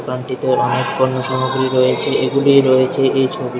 দোকানটিতে অনেক পণ্যসামগ্রী রয়েছে এইগুলি রয়েছে এই ছবিটি--